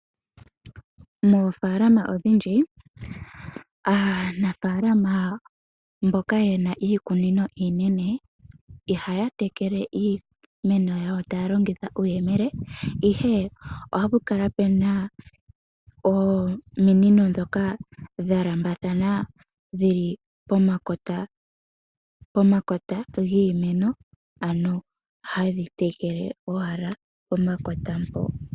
Moofaalama odhindji aanafaalama mboka ye na iikunino iinene ihaya tekele iimeno yawo taya longitha uuyemele, ashike ohapu kala puna ominino ndhoka dha lambathana dhili pomakota giimeno, ano hadhi tekele owala pomakota mpo.